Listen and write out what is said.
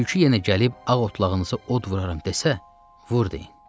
Tülkü yenə gəlib ağ otlağınızı od vuraram desə, vur deyin.